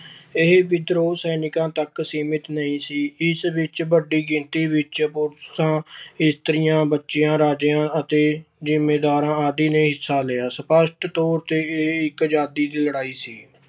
ਇਹ ਵਿਦਰੋਹ ਸੈਨਿਕਾਂ ਤੱਕ ਸੀਮਿਤ ਨਹੀਂ ਸੀ। ਇਸ ਵਿੱਚ ਵੱਡੀ ਗਿਣਤੀ ਵਿੱਚ ਪੁਰਸ਼ਾ, ਇਸਤਰੀਆਂ, ਬੱਚਿਆਂ, ਰਾਜਿਆਂ ਅਤੇ ਜ਼ਿਮੀਂਦਾਰਾਂ ਆਦਿ ਨੇ ਹਿੱਸਾ ਲਿਆ। ਸਪੱਸ਼ਟ ਤੌਰ ਤੇ ਇਹ ਇੱਕ ਆਜ਼ਾਦੀ ਦੀ ਲੜਾਈ ਸੀ।